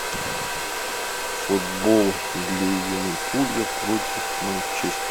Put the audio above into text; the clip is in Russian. футбол ливерпуля против